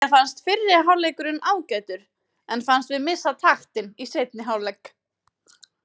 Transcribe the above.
Mér fannst fyrri hálfleikurinn ágætur en fannst við missa taktinn í seinni hálfleik.